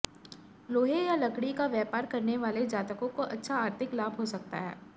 लोहे या लकड़ी का व्यापार करने वाले जातकों को अच्छा आर्थिक लाभ हो सकता है